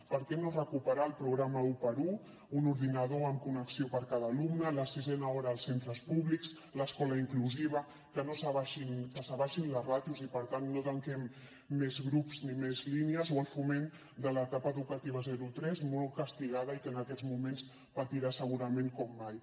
per què no recuperar el programa 1x1 un ordinador amb connexió per a cada alumne la sisena hora als centres públics l’escola inclusiva que s’abaixin les ràtios i per tant no tanquem més grups ni més línies o el foment de l’etapa educativa zero tres molt castigada i que en aquests moments patirà segurament com mai